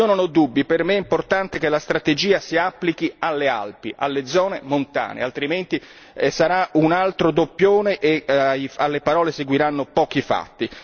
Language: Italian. Io non ho dubbi, per me è importante che la strategia si applichi alle Alpi, alle zone montane, altrimenti sarà un altro doppione e alle parole seguiranno pochi fatti.